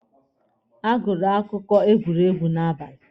A gụrụ akụkọ egwuregwu n'abali.